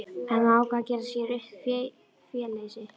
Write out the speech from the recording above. Hann ákvað að gera sér upp féleysi.